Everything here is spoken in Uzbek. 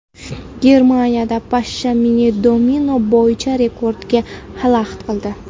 Germaniyada pashsha mini-domino bo‘yicha rekordga xalaqit qildi.